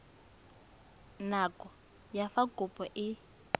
nako ya fa kopo e